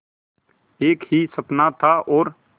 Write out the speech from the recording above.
एक ही सपना था और